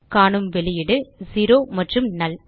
காணும் வெளியீடு செரோ மற்றும் நல்